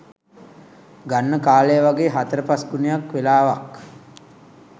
ගන්න කාලය වගේ හතර පස් ගුණයක් වෙලාවක්